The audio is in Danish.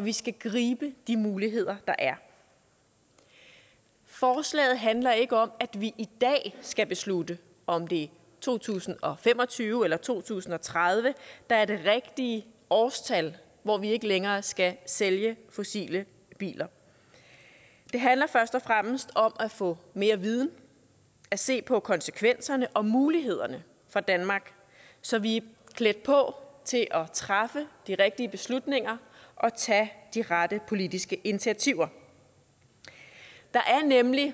vi skal gribe de muligheder der er forslaget handler ikke om at vi i dag skal beslutte om det er to tusind og fem og tyve eller to tusind og tredive der er det rigtige årstal hvor vi ikke længere skal sælge fossile biler det handler først og fremmest om at få mere viden at se på konsekvenserne og på mulighederne for danmark så vi er klædt på til at træffe de rigtige beslutninger og tage de rette politiske initiativer der er nemlig